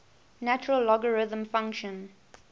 natural logarithm function